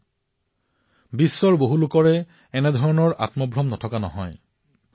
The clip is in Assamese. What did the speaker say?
সমগ্ৰ বিশ্বতে বহু লোকে এই ভ্ৰম মনতে লৈ আছিল